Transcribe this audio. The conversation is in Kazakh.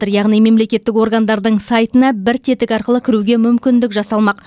яғни мемлекеттік органдардың сайтына бір тетік арқылы кіруге мүмкіндік жасалмақ